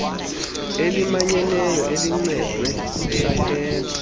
elimanyeneyo elincedwe sisakhelo